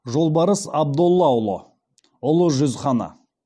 жолбарыс абдоллаұлы ұлы жүз ханы